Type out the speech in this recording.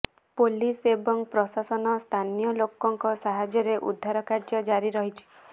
police ଏବଂ ପ୍ରଶାସନ ସ୍ଥାନିୟ ଲୋକଙ୍କ ସାହାଯ୍ୟରେ ଉୁଦ୍ଧାରକାର୍ଯ୍ୟ ଜାରି ରହିଛି